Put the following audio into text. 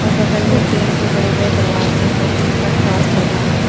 और बगल में टीन के बड़े बड़े दरवाजे हैं जिन पर क्रॉस लगा है।